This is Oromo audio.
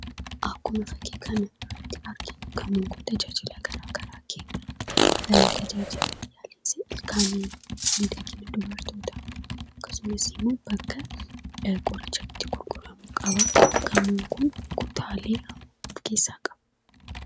Akkuma fakkii kana irratti arginu gamoo tajaajila addaa addaa kennuu dha. Tajaajila yaala ilkaanii, miidhagina dubartootaa akkasumas immoo bakka itti qoricha gurguran qaba. Gamoon Kunis kutaalee afur of keessaa qaba.